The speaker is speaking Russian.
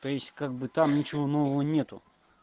то есть как бы там ничего нового нет